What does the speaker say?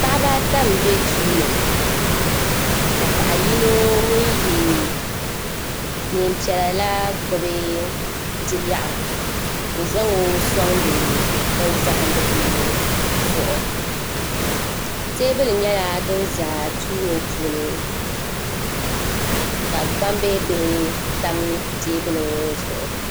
Paɣiba ata m-be duu ni ka paɣa yino ŋun ye neem'piɛla la gbubi bi'lɛɣu n-zaŋ o sɔŋdi binizahidigu zuɣu teebuli nyɛla din za duu ŋɔ puuni ka gbambihi bihi tam teebuli ŋɔ zuɣu.